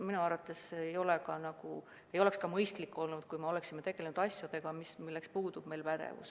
Minu arvates see ei oleks mõistlik olnud, kui me oleksime tegelenud asjadega, milleks meil puudub pädevus.